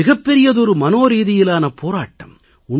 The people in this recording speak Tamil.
இது மிகப் பெரிய மனோரீதியிலான போராட்டம்